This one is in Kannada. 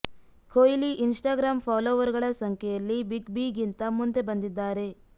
ಕೊಹ್ಲಿ ಇನ್ ಸ್ಟಾಗ್ರಾಂ ಫಾಲೋವರ್ ಗಳ ಸಂಖ್ಯೆಯಲ್ಲಿ ಬಿಗ್ ಬಿಗಿಂತ ಮುಂದೆ ಬಂದಿದ್ದಾರೆ